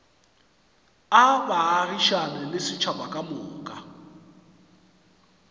a baagišane le setšhaba kamoka